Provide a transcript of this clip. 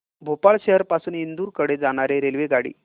भोपाळ शहर पासून इंदूर कडे जाणारी रेल्वेगाडी